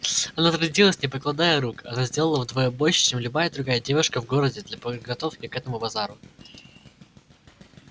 она трудилась не покладая рук она сделала вдвое больше чем любая другая девушка в городе для подготовки к этому базару